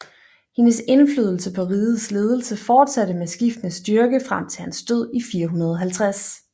Hendes indflydelse på rigets ledelse fortsatte med skiftende styrke frem til hans død i 450